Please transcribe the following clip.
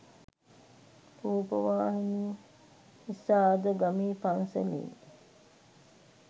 රූපවාහිනිය නිසා අද ගමේ පන්සලෙන්